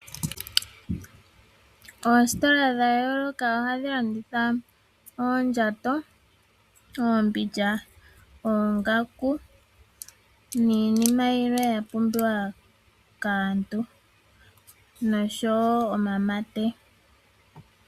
Oositola dhayooloka ohadhi landitha oondjato, oombindja, oongaku niinima yimwe ya pumbiwa kaantu noshoo woo omamate.